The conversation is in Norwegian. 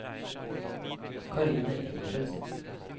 Karine Engebretsen